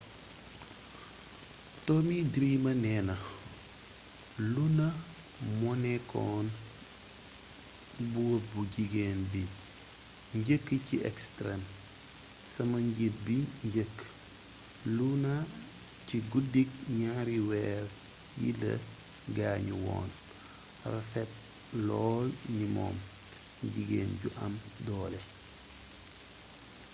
tommy dreamer néna luna moonékkoon buur bu jigeen bi njëkk ci extreme sama njiit bi njeekk luna ci guddik gnaari wéér yi la gaañu woon rafet lool ni moom jiggén ju am doolé